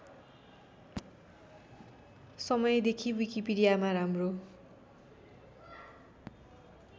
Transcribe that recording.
समयदेखि विकिपिडियामा राम्रो